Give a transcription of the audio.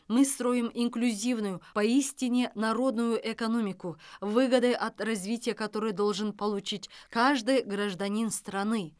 мы строим инклюзивную поистине народную экономику выгоды от развития которой должен получить каждый гражданин страны